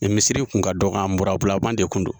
Nin misiri tun ka dɔgɔ an mirabulaman de kun don.